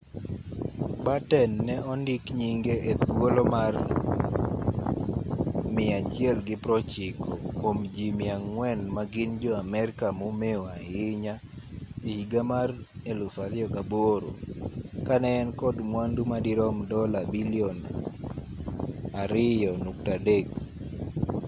batten ne ondik nyinge e thuolo mar 190 kuom ji 400 ma gin jo-amerka momeu ahinya e higa mar 2008 ka ne en kod mwandu ma dirom dola bilion $2.3